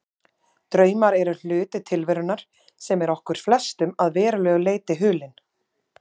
Draumar eru hluti tilverunnar sem er okkur flestum að verulegu leyti hulinn.